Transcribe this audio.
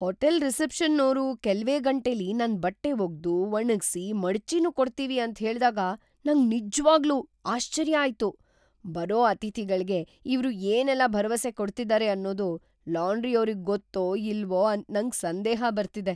Hotel ರಿಸೆಪ್ಷನ್ನೋರು ಕೆಲ್ವೇ ಗಂಟೆಲಿ ನನ್ ಬಟ್ಟೆ ಒಗ್ದು, ಒಣಗ್ಸಿ, ಮಡ್ಚಿನೂ ಕೊಡ್ತೀವಿ ಅಂತ್ ಹೇಳ್ದಾಗ ನಂಗ್ ನಿಜ್ವಾಗ್ಲೂ ಆಶ್ಚರ್ಯ ಆಯ್ತು. ಬರೋ ಅತಿಥಿಗಳ್ಗೆ ಇವ್ರು ಏನೆಲ್ಲ ಭರವಸೆ ಕೊಡ್ತಿದಾರೆ ಅನ್ನೋದು ಲಾಂಡ್ರಿಯೋರಿಗ್‌ ಗೊತ್ತೋ ಇಲ್ವೋ ಅಂತ ನಂಗ್‌ ಸಂದೇಹ ಬರ್ತಿದೆ.